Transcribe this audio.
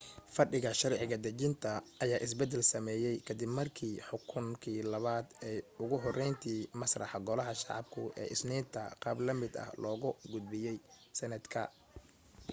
fadhiga sharci dejinta ayaa isbeddel sameeyay ka dib markii xukunkii labaad ay ugu horreyntii masaxeen golaha shacabku ee isniinta qaab la mid ah loogu gudbiyay senate ka